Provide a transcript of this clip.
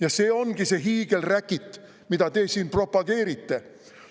Ja see ongi see hiigelräkit, mida te siin propageerite.